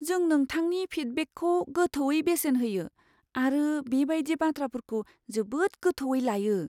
जों नोंथांनि फिडबेकखौ गोथौवै बेसेन होयो आरो बे बायदि बाथ्राफोरखौ जोबोद गोथौवै लायो।